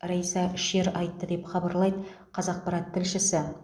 райса шер айтты деп хабарлайды қазақпарат тілшісі